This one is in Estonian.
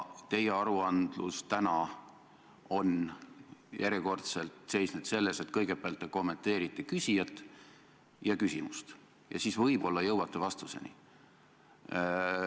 Teie aruandmine täna on järjekordselt seisnud selles, et kõigepealt te kommenteerite küsijat ja küsimust ja siis võib-olla jõuate vastuseni.